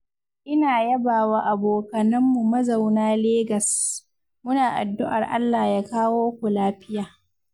ina yabawa abokananmu mazauna Legas, muna addu'ar Allah ya kawo ku lafiya.